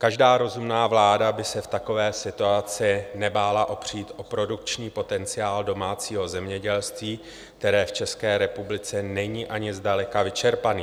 Každá rozumná vláda by se v takové situaci nebála opřít o produkční potenciál domácího zemědělství, který v České republice není ani zdaleka vyčerpaný.